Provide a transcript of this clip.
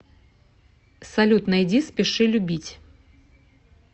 салют найди спеши любить